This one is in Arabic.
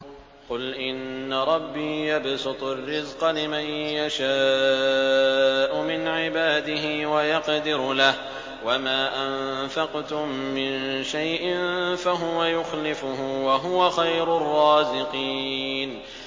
قُلْ إِنَّ رَبِّي يَبْسُطُ الرِّزْقَ لِمَن يَشَاءُ مِنْ عِبَادِهِ وَيَقْدِرُ لَهُ ۚ وَمَا أَنفَقْتُم مِّن شَيْءٍ فَهُوَ يُخْلِفُهُ ۖ وَهُوَ خَيْرُ الرَّازِقِينَ